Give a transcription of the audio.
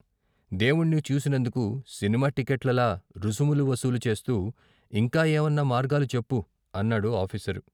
దేవుణ్ణి చూసినందుకు సినిమా టిక్కెట్లలా రుసుములు వసూలు చేస్తు ఇంకా ఏవన్నా మార్గాలు చెప్పు అన్నాడు ఆఫీసరు.